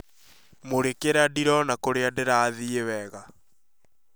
Mũrikira ndĩrona kũrĩa ndĩrathiĩ wega